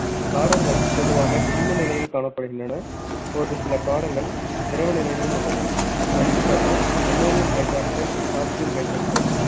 காரங்கள் பொதுவாக திண்ம நிலையில் காணப்படுகின்றன ஒரு சில காரங்கள் திரவ நிலையிலும் உள்ளன எடுத்துக்காட்டு ammonium hydroxide calcium hydroxide